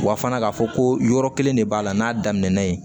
Wa fana k'a fɔ ko yɔrɔ kelen de b'a la n'a daminɛna yen